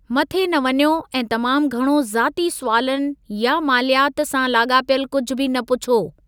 मथे न वञो ऐं तमामु घणो ज़ाती सुवालनि या मालियात सां लाॻापियलु कुझु बि न पुछो।